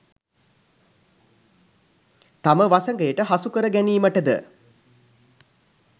තම වසඟයට හසුකර ගැනීමට ද